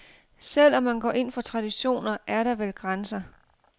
Selv om man går ind for traditioner, er der vel grænser.